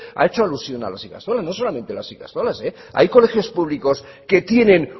ha hecho alusión a las ikastolas no solamente las ikastolas hay colegios públicos que tienen